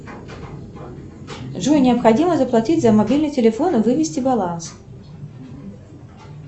джой необходимо заплатить за мобильный телефон и вывести баланс